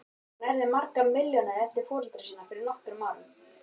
Hún erfði margar milljónir eftir foreldra sína fyrir nokkrum árum.